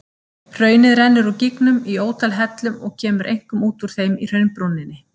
Hraunið rennur úr gígnum í ótal hellum og kemur einkum út úr þeim í hraunbrúninni.